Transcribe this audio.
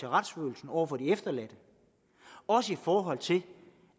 retsfølelsen over for de efterladte og også i forhold til